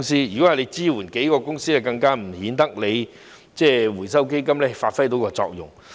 如果是支援數間公司，更顯得回收基金無法發揮作用。